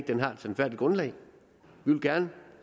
den har et sandfærdigt grundlag vi vil gerne